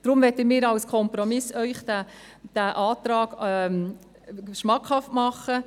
Deshalb möchten wir Ihnen als Kompromiss unseren Antrag schmackhaft machen: